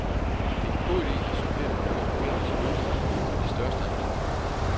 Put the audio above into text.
Det er en god idé at supplere med noget organisk gødning til de største af planterne.